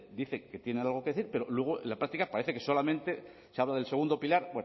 dice que tienen algo que decir pero luego en la práctica parece que solamente se habla del segundo pilar